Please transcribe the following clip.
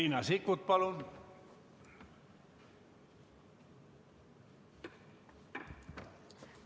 Riina Sikkut, palun!